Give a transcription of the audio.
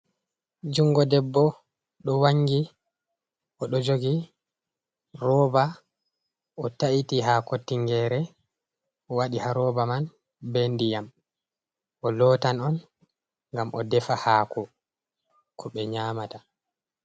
Jungo debbo, do wangi o do jogi rooba o ta'iti haako tingere waɗi ha rooba man be ndiyam o lootan on ngam o defa haaku ko be nyaamata.